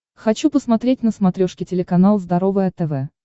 хочу посмотреть на смотрешке телеканал здоровое тв